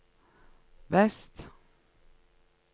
vest